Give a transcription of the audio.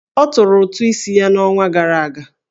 Ọ tụrụ ụtụ isi ya n'ọnwa gara aga?